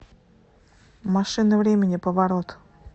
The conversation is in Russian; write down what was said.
машина времени поворот